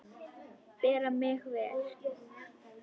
Bera mig vel?